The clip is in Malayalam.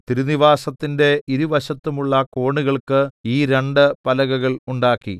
തിരുനിവാസത്തിന്റെ ഇരുവശത്തുമുള്ള കോണുകൾക്ക് ഈ രണ്ട് പലകകൾ ഉണ്ടാക്കി